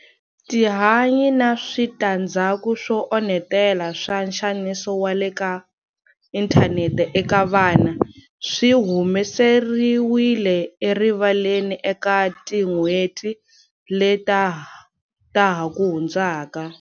Tihanyi na switandzhaku swo onhetela swa nxaniso wa le ka inthanete eka vana swi humeseriwile erivaleni eka tin'hweti leta ha ku hundzaka.